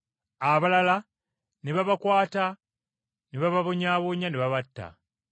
Abalala ne babakwata ne bababonyaabonya ne babatta.